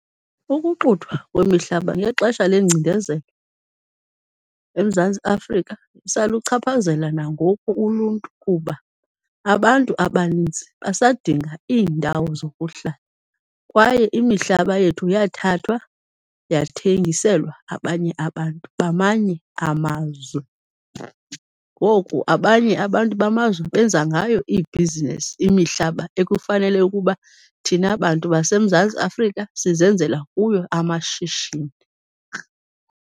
Ukuxuthwa kwemihlaba ngexesha lengcinezelo eMzantsi Afrika kusaluchaphazela nangoku uluntu kuba abantu abaninzi basadinga iindawo zokuhlala, kwaye imihlaba yethu yathathwa yathengiselwa abanye abantu bamanye amazwe, ngoku abanye abantu bamazwe benza ngayo iibhizinesi imihlaba ekufanele ukuba thina bantu baseMzantsi Afrika sizenzela kuyo amashishini.